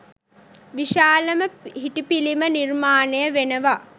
විශාලම හිටි පිළිම නිර්මාණය වෙනවා.